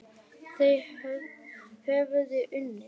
Þau höfðu unnið.